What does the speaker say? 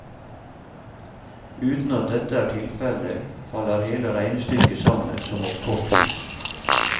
Uten at dette er tilfelle, faller hele regnestykket sammen som et korthus.